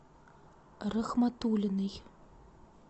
рахматулиной